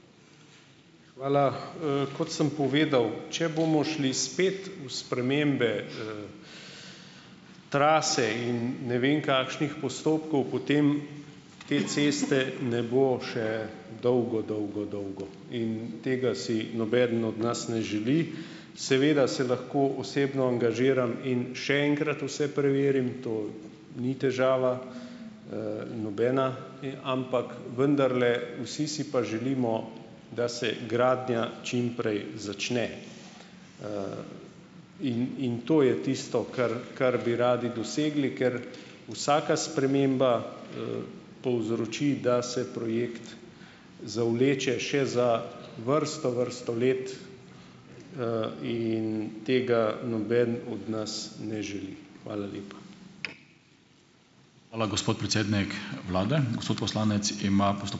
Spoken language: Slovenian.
Hvala. kot sem povedal. Če bomo spet šli v spremembe, trase in ne vem kakšnih postopkov, potem te ceste ne bo še dolgo, dolgo, dolgo. In tega si nobeden od nas ne želi. Seveda se lahko osebno angažiram in še enkrat vse preverim, to ni težava, nobena. Ampak vendarle, vsi si pa želimo, da se gradnja čim prej začne. In, in to je tisto, kar, kar bi radi dosegli, ker vsaka sprememba, povzroči, da se projekt zavleče še za vrsto, vrsto let. in tega noben od nas ne želi. Hvala lepa. Hvala, gospod predsednik vlade, gospod poslanec ima